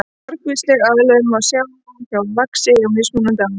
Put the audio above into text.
Margvíslega aðlögun má sjá hjá laxi í mismunandi ám.